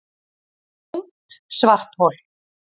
Ungt svarthol